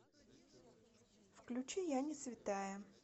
включи я не святая